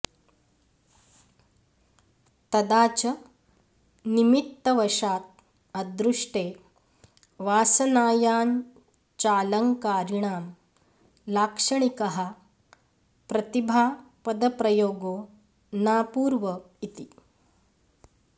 तदा च निमित्तवशात् अदृष्टे वासनायाञ्चालङ्कारिकाणां लाक्ष णिकः प्रतिभापदप्रयोगो नापूर्व इति